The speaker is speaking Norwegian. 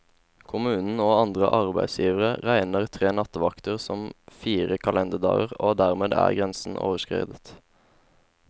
Kommunen og andre arbeidsgivere regner tre nattevakter som fire kalenderdager, og dermed er grensen overskredet.